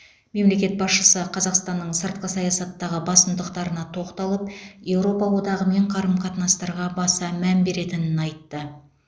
мемлекет басшысы қазақстанның сыртқы саясаттағы басымдықтарына тоқталып еуропа одағымен қарым қатынастарға баса мән беретінін айтты